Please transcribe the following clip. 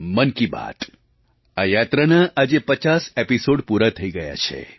મન કી બાત આ યાત્રાના આજ 50 એપિસૉડ પૂરા થઈ ગયા છે